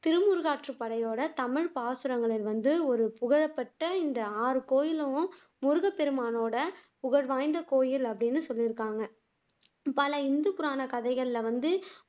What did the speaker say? திருமுருகாற்றுப்படையோட தமிழ்ப் பாசுரங்களில் வந்து ஒரு புகழப்பட்ட இந்த ஆறு கோவிலும் முருகப்பெருமானோட புகழ்வாய்ந்த கோவில் அப்படின்னு சொல்லிருக்காங்க பல இந்து புராண கதைகள்ல வந்து